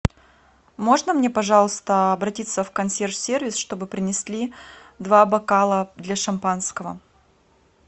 можно мне пожалуйста обратиться в консьерж сервис чтобы принесли два бокала для шампанского